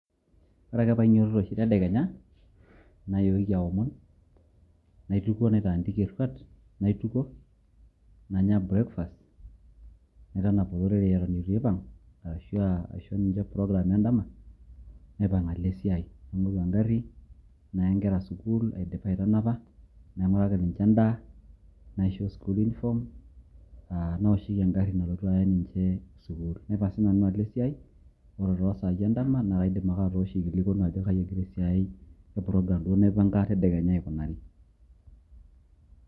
ore ake pee ainyiototo oshi tedekenya nayooki aomon, naitukuo, naitaandika eruat, naitukuo, nanya breakfast naitanap olorere eton eitu aipang',ashu aisho program edama, naipang' alo esiai, naing'oru egari naya nkera sukuul, ore aidipa aitanapa naing'uraki ninche endaa, neishop school uniform naoshoki egari nalotu aya ninche sukuul, naipang' sii nanu alo esiai. ore too sai edama naa kaidim ake atooso aikilikuanu ajo kaji egira esiai aikunari te program duo naipanga tedekenya aikunari.